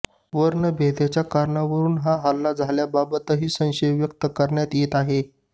वर्णभेदाच्या कारणावरून हा हल्ला झाल्याबाबतही संशय व्यक्त करण्यात येत आहे